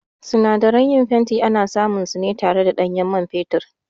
Sinadaran yin fenti ana samun su ne tare da ɗanyen man fetur